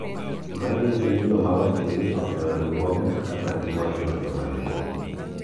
manyiso ni joma wakeini ohero riwruoge kaka magi moingo joma chwo